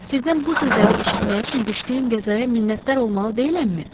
Sizdən bu sözləri eşitmək üçün düşdüyüm qəzaya minnətdar olmalı deyiləmmi?